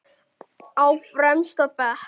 Á fremsta bekk.